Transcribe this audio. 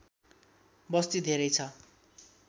बस्ती धेरै छ